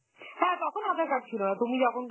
হ্যাঁ তখন আধার card ছিল না, তুমি যখন